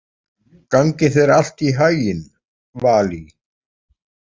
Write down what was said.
Gangi þér allt í haginn, Valý.